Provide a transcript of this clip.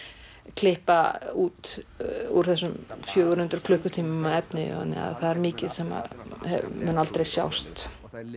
klippa út úr þessum fjögur hundruð klukkutímum af efni þannig að það er mikið sem mun aldrei sjást